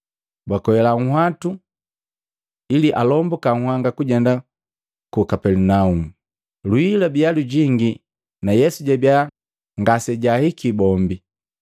bakwela munhwatu ili alombuka nhanga kujenda ku Kapelinaumu. Lwii lwabiya lujingi na Yesu jabiya ngasejahiki bombi.